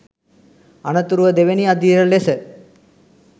අනතුරුව දෙවැනි අදියර ලෙස